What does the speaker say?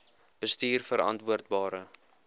bestuurverantwoordbare